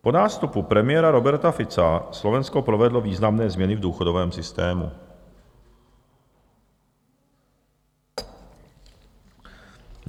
Po nástupu premiéra Roberta Fica Slovensko provedlo významné změny v důchodovém systému.